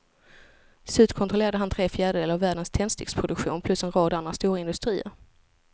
Till slut kontrollerade han tre fjärdedelar av världens tändsticksproduktion plus en rad andra stora industrier.